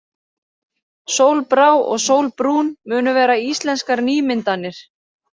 Sólbrá og Sólbrún munu vera íslenskar nýmyndanir.